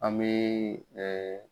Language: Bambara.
An bɛ